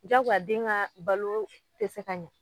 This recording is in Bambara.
Jakoya den ŋaa baloo te se ka ɲɛ